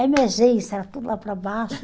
A emergência era tudo lá para baixo.